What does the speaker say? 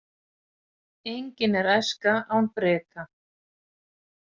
Engin er æska án breka.